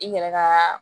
I yɛrɛ ka